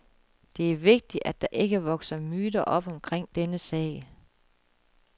Det er vigtigt, at der ikke vokser myter op omkring denne sag.